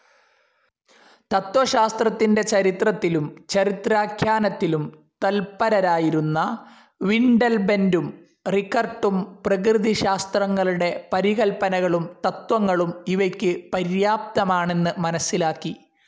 തത്ത്വശാസ്ത്രത്തിന്റെ ചരിത്രത്തിലും ചരിത്രാഖ്യാനത്തിലും തത്പരരായിരുന്ന വിൻഡൽബൻഡും റികർട്ടും പ്രകൃതിശാസ്ത്രങ്ങളുടെ പരികല്പനകളും തത്ത്വങ്ങളും ഇവയ്ക്ക് പര്യാപ്തമാണെന്ന് മനസ്സിലാക്കി.